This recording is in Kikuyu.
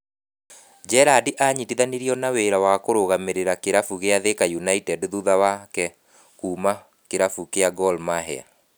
Gerrard anyitithanirio na wĩra wa kũrũgamĩrĩra kĩrabu kia Thika United thutha wake kuuma kĩrabu kia Gor Mahia.